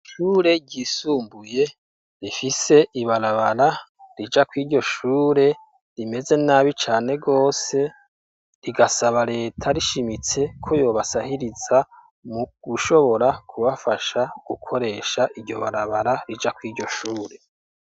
Ishure ryisumbuye, rifise ibarabara rija kw'iryo shure, rimeze nabi cane rwose, rigasaba leta rishimitse, ko yobasahiriza, mu gushobora kubafasha, gukoresha iryo barabara, rija kw'iryo shure.